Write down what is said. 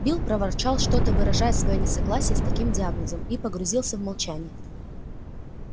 билл проворчал что то выражая своё несогласие с таким диагнозом и погрузился в молчание